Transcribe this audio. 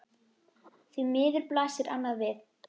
Því miður blasir annað við.